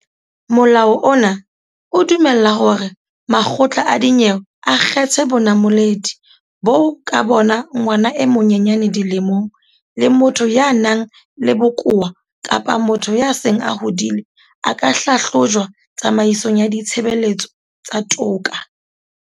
Molao ona o dumella hore makgotla a dinyewe a kgethe bonamoledi boo ka bona ngwana e monyenyane dilemong, le motho ya nang le bokowa kapa motho ya seng a hodile a ka hlahlojwa tsamaisong ya ditshebeletso tsa toka.